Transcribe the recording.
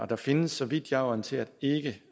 der findes så vidt jeg er orienteret ikke